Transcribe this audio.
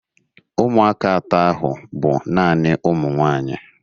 Ụmụaka atọ ahụ bụ naanị ụmụ nwaanyị.